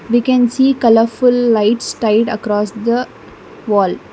We can see colourful lights style across the wall.